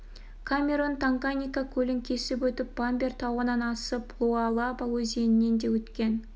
камерон танганьика көлін кесіп өтіп бамбар тауынан асып луалаба өзенінен де өткен